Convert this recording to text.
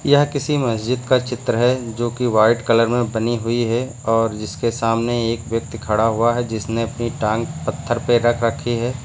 यह किसी मस्जिद का चित्र है जो कि वाइट कलर में बनी हुई है और जिसके सामने एक व्यक्ति खड़ा हुआ है जिसने अपनी टांग पत्थर पे रख रखी है।